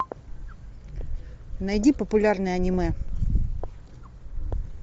найди популярное аниме